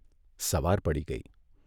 સવાર પડી ગઇ.